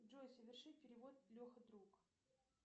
джой соверши перевод леха друг